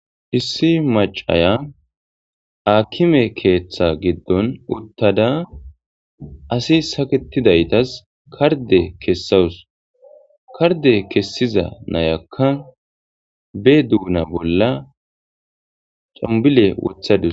issi macaya akime keeththa giddon uttada asi saketidaytas karde kessawus karde kessiza nayakka be duuna bolla cambile wothadus